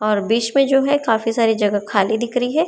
और बीच में जो है काफी सारी जगह खाली दिख रही है।